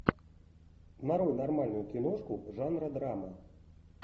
нарой нормальную киношку жанра драма